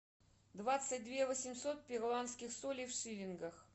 двадцать две восемьсот перуанских солей в шиллингах